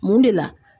Mun de la